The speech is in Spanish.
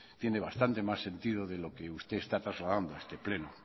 tiene bastante más sentido de lo que usted está trasladando a este pleno